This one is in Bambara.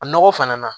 A nɔgɔ fana na